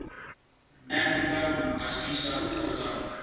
africa asgisa program